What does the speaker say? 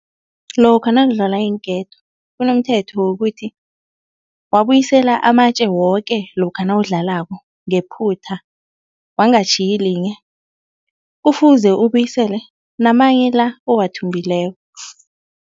Lokha nakudlalwa iinketo kunomthetho wokuthi wabuyisela amatje woke lokha nawudlalako ngephutha, wangatjhiyi linye kufuze ubuyisele namanye la owathumbileko.